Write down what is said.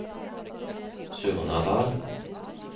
Surnadal